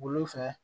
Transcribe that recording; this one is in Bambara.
Lu fɛ